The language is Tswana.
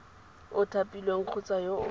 o thapilweng kgotsa yo o